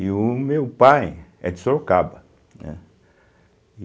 E o meu pai é de Sorocaba, né?